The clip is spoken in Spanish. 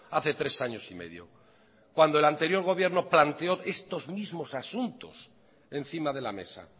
hace tres años y medio cuando el anterior gobierno planteó estos mismos asuntos encima de la mesa